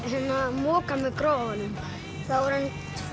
moka með gröfunum þá var hann